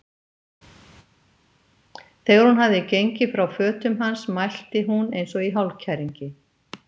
Þegar hún hafði gengið frá fötum hans mælti hún eins og í hálfkæringi